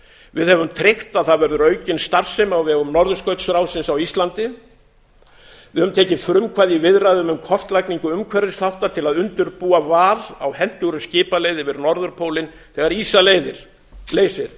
við höfum tryggt að það verður aukin starfsemi á vegum norðurskautsráðsins á íslandi við höfum tekið frumkvæði í viðræðum um kortlagningu umhverfisþátta til að undirbúa val á hentugri skipaleið yfir norðurpólinn þegar ísa leysir